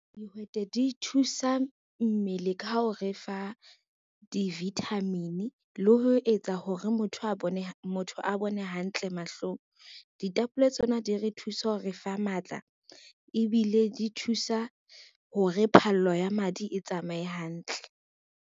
Dihwete di thusa mmele ka ho re fa di-vitamin le ho etsa hore motho a bone hantle mahlong. Ditapole tsona di re thuse hore re fa matla ebile di thusa hore phallo ya madi e tsamaye hantle.